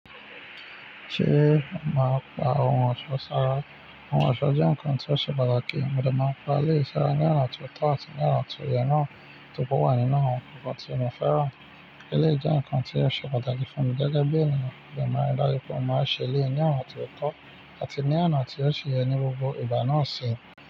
Ṣée màá pa oun ọ̀ṣọ́ sára? Ohun ọ̀ṣọ́ jẹ́ nǹkan tí ó ṣe pàtàkì, mo dẹ máa pa eleyii sára ní ọ̀nà tó tọ́ àti ní ọ̀nà tó yẹ náà to ri pe owà nínú nǹkan tí mo fẹ́ràn. Eleyii jẹnǹkan tí ó ṣe pàtàkì fún mi gẹ́gẹ́ bí ènìyàn, mo dẹ máa rí dájú pé mo máa ṣe eleyii ní ọ̀nà tó tọ́ àti ní ọ̀nà tí ó ṣi yẹ ní gbogbo ìgbà náà sẹ.